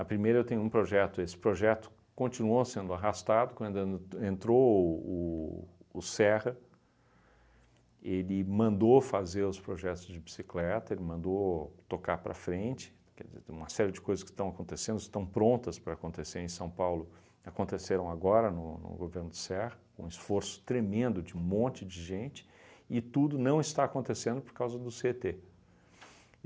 primeira eu tenho um projeto, esse projeto continuou sendo arrastado quando an entrou o o Serra, ele mandou fazer os projetos de bicicleta, ele mandou tocar para frente, quer dizer, tem uma série de coisas que estão acontecendo, estão prontas para acontecer em São Paulo, aconteceram agora no no governo do Serra, com esforço tremendo de um monte de gente e tudo não está acontecendo por causa do cê e tê